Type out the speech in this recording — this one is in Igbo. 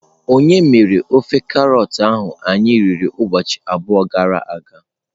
Onye mere ofe karọt ahụ anyị riri ụbọchị abụọ gara aga?